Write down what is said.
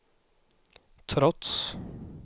trots